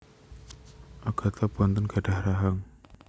Agnatha boten gadhah rahang